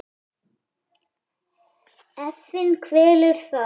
Efinn kvelur þá.